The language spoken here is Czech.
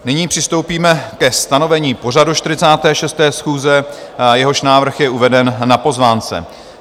Nyní přistoupíme ke stanovení pořadu 46. schůze, jehož návrh je uveden na pozvánce.